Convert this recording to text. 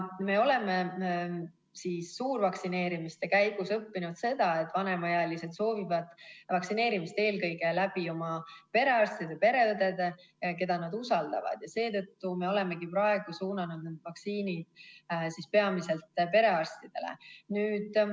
Me oleme suurvaktsineerimiste käigus näinud seda, et vanemaealised soovivad vaktsineerida eelkõige oma perearstide ja pereõdede juures, keda nad usaldavad, ja seetõttu me olemegi praegu suunanud need vaktsiinid peamiselt perearstidele.